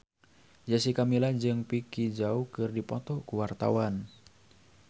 Jessica Milla jeung Vicki Zao keur dipoto ku wartawan